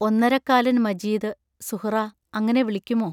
ഒന്നരക്കാലൻ മജീദ് സുഹ്റാ അങ്ങനെ വിളിക്കുമോ?